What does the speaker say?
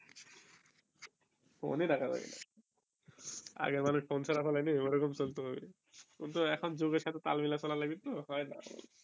phone ই রাখা যাবে না আগে মানুষ ফোন ছাড়া চলে নি ওরকম চলতে হবে কিন্তু এখন যুগের সাথে তাল মিলাই চলাই লাগবে তো হয়ই না